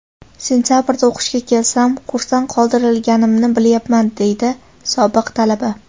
Sentabrda o‘qishga kelsam, kursdan qoldirilganimni bilyapman, deydi sobiq talaba.